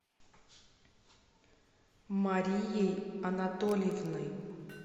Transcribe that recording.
марией анатольевной